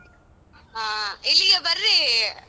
ಹಾ ಇಲ್ಲಿಗೆ ಬರ್ರೀ.